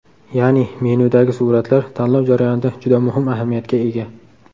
Ya’ni menyudagi suratlar tanlov jarayonida juda muhim ahamiyatga ega.